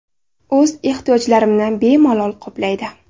O‘z ehtiyojlarimni bemalol qoplaydi.